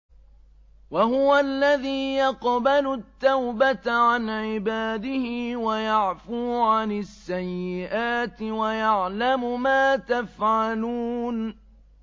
وَهُوَ الَّذِي يَقْبَلُ التَّوْبَةَ عَنْ عِبَادِهِ وَيَعْفُو عَنِ السَّيِّئَاتِ وَيَعْلَمُ مَا تَفْعَلُونَ